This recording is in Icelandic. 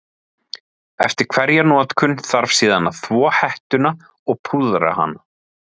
Eftir hverja notkun þarf síðan að þvo hettuna og púðra hana.